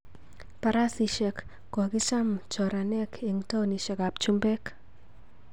Barasesiek kokicham choraneg eng taonishek ap chumbeek